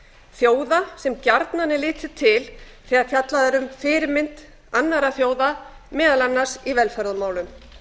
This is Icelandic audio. þjóða sem gjarnan er litið til þegar fjallað er um fyrirmynd annarra þjóða meðal annars í velferðarmálum